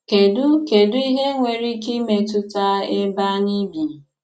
Kèdù Kèdù ìhé nwere ìkè ìmétùtà èbé ànyị̀ bì?